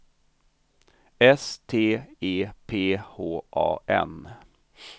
S T E P H A N